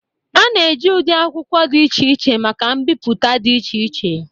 A na-eji ụdị akwụkwọ dị iche iche maka mbipụta dị iche iche